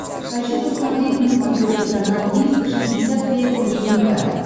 хочу посмотреть на смотрешке канал триста шестьдесят пять дней тв